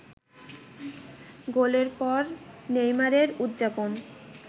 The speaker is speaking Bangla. গোলের পর নেইমারের উদযাপন